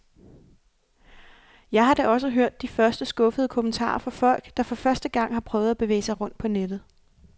Jeg har da også hørt de første skuffede kommentarer fra folk, der for første gang har prøvet at bevæge sig rundt på nettet.